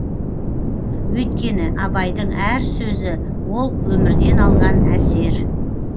өйткені абайдың әр сөзі ол өмірден алған әсер